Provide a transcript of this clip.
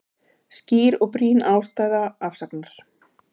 Skýr og brýn ástæða afsagnar